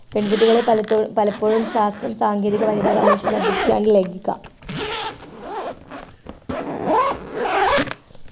പെൺകുട്ടികളെ പലപ്പോ പലപ്പോഴും ശാസ്ത്രം ശാസ്ത്ര സാങ്കേതിക വനിതാ കമ്മീഷൻ അധ്യക്ഷൻ ആണ്